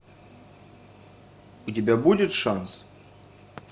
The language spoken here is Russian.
у тебя будет шанс